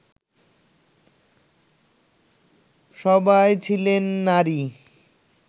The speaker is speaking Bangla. সবাই ছিলেন নারী